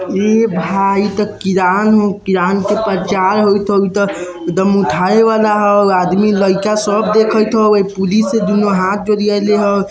ए भाए इते किरान हो किरान के प्रचार होएत हेय ते एकदम उठावे वाला हेय आदमी लयका सब देखत होय एक पुलिस होय दुनू हाथ जोरिएले हेय।